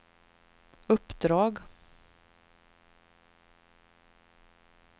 uppdrag